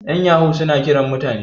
yan yahu suna Kiran mutane